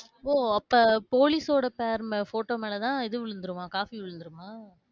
ஓ அப்ப police சோட pair மே~ photo மேல தான் இது விழுந்துருமா? coffee விழுந்துருமா?